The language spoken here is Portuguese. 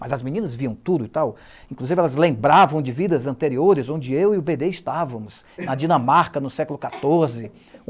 Mas as meninas viam tudo e tal, inclusive elas lembravam de vidas anteriores, onde eu e o bê dê estávamos, na Dinamarca, no século quatorze;